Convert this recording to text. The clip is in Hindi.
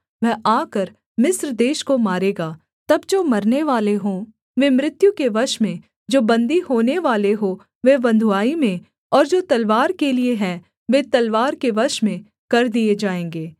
वह आकर मिस्र देश को मारेगा तब जो मरनेवाले हों वे मृत्यु के वश में जो बन्दी होनेवाले हों वे बँधुआई में और जो तलवार के लिये है वे तलवार के वश में कर दिए जाएँगे